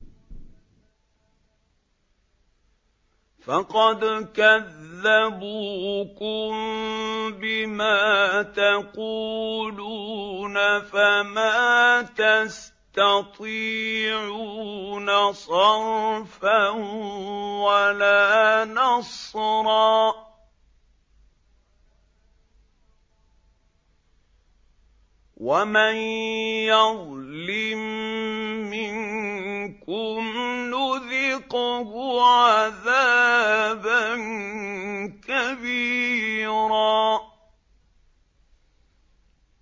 فَقَدْ كَذَّبُوكُم بِمَا تَقُولُونَ فَمَا تَسْتَطِيعُونَ صَرْفًا وَلَا نَصْرًا ۚ وَمَن يَظْلِم مِّنكُمْ نُذِقْهُ عَذَابًا كَبِيرًا